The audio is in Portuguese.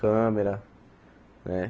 Câmera, né?